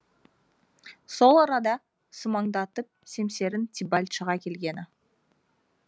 сол арада сумаңдатып семсерін тибальт шыға келгені